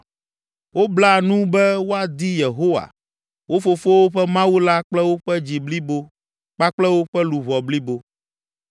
Wobla nu be woadi Yehowa, wo fofowo ƒe Mawu la kple woƒe dzi blibo kpakple woƒe luʋɔ blibo.